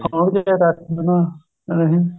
ਹੁਣ ਉਹ ਦੇਖੋ